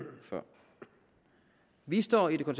før vi står i det